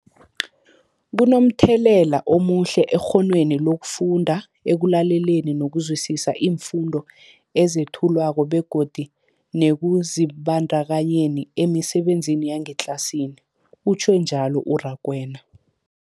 Kunomthelela omuhle ekghonweni lokufunda, ekulaleleni nokuzwisiswa iimfundo ezethulwako begodu nekuzibandakanyeni emisebenzini yangetlasini, utjhwe njalo u-Rakwena.